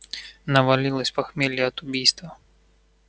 навалилось похмелье от убийства